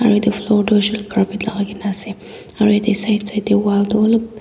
aro edu floor tu hoishey koilae tu carpet lakai kaena ase aro yatae side side tae wall toh olop.